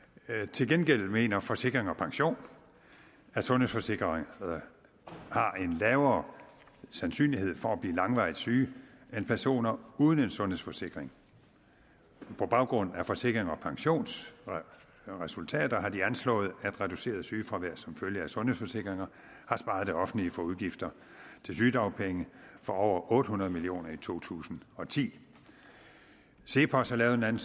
til gengæld mener forsikring pension at sundhedsforsikrede har en lavere sandsynlighed for at blive langvarigt syge end personer uden en sundhedsforsikring på baggrund af forsikring pensions resultater har de anslået at reduceret sygefravær som følge af sundhedsforsikringer har sparet det offentlige for udgifter til sygedagpenge for over otte hundrede million kroner i to tusind og ti cepos har lavet en